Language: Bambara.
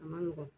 A ma nɔgɔn